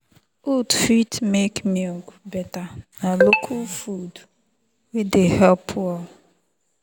oats fit make milk better na local food wey dey help well.